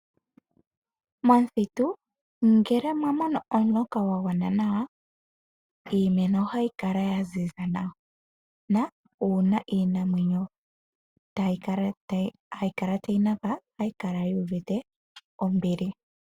Momuthitu ngele mwa monoomuloka gwa gwana nawa, iimeno ohayi kala ya ziza nawa, uuna iinamwenyo hayikala tayi napa ohayi kala yu uvite ombili.